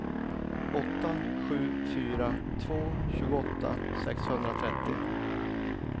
åtta sju fyra två tjugoåtta sexhundratrettio